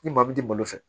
Ni maa min t'i bolo fɛ